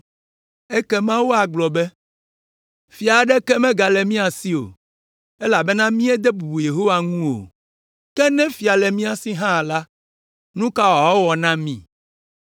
Ekema woagblɔ be, “Fia aɖeke megale mía si o, elabena míede bubu Yehowa ŋu o. Ke ne fia le mía si hã la, nu ka wòawɔ na mí?”